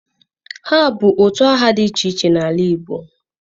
ha bu utu aha di iche iche n'ala Igbo